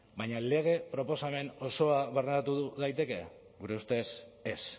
baina lege proposamen osoa barneratu daiteke gure ustez ez